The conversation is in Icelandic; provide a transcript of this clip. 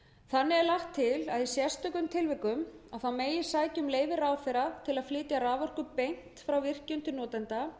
þannig er lagt til að í sérstökum tilvikum megi sækja um leyfi ráðherra til